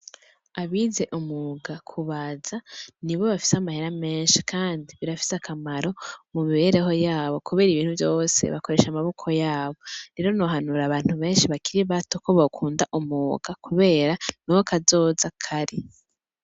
Abize umwuga, kubaza nibo bafise amahera menshi kandi birafise akamaro mu mibereho yabo kubera ibintu vyose bakoresha amaboko yabo. Rero nohanura abantu benshi bakiri bato ko bokunda umwuga, kubera niho kazoza kari.